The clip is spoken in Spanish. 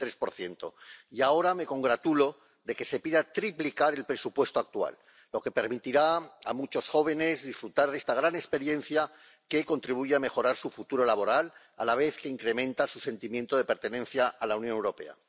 43 Y ahora me congratulo de que se pida triplicar el presupuesto actual, lo que permitirá a muchos jóvenes disfrutar de esta gran experiencia que contribuye a mejorar su futuro laboral, a la vez que incrementa su sentimiento de pertenencia a la Unión Europea.